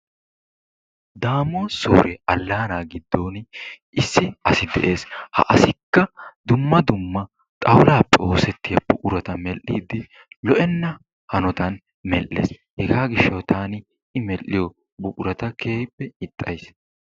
Daamot soore allaanaa giddon issi asi de'ees. Ha asikka dumma dumma xawulaappe oosettiya buqurata medhdhiiddi lo'enna hanotan medhdhees. Hegaa gishshawu taani I medhdhiyo buqurata ixxays.